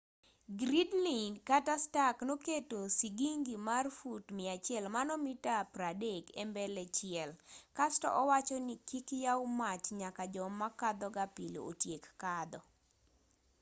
gridley kata stark noketo sigingi mar fut 100 mita 30 e mbele chiel kasto owachoni kik yaw mach nyaka joma kadhoga pile otiek kadho